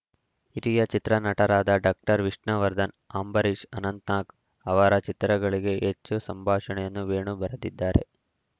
ಹಿರಿಯ ಚಿತ್ರನಟರಾದ ಡಾಕ್ಟರ್ ವಿಷ್ಣುವರ್ಧನ್‌ ಅಂಬರೀಷ್‌ ಅನಂತನಾಗ್‌ ಅವರ ಚಿತ್ರಗಳಿಗೆ ಹೆಚ್ಚು ಸಂಭಾಷಣೆಯನ್ನು ವೇಣು ಬರೆದಿದ್ದಾರೆ